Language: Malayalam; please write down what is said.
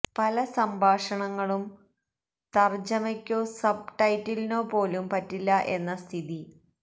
പല സംഭാഷണങ്ങളും തര്ജമയ്ക്കോ സബ് ടൈറ്റിലിനോ പോലും പറ്റില്ല എന്ന സ്ഥിതി